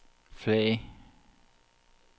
flag